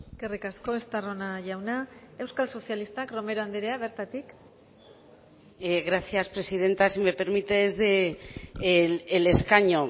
eskerrik asko estarrona jauna euskal sozialistak romero andrea bertatik gracias presidenta si me permite desde el escaño